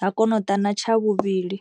ha kona u ḓa na tsha vhuvhili.